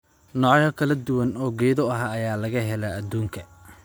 Noocyo kala duwan oo geedo ah ayaa laga helaa adduunka.